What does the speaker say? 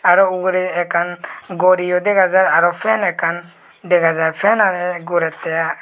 aro ugure ekkan goriyo degajar aro fan ekkan degajar fan aage guretteh i.